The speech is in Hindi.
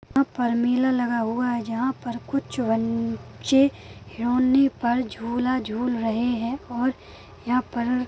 यहाँ पर मेला लगा हुआ है जहाँ पर कुछ बच्चे खिलोने पर झूला झूल रहे है और यहाँ पर--